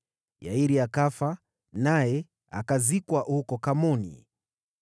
Yairi akafa, naye akazikwa huko Kamoni.